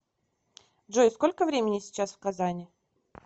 джой сколько времени сейчас в казани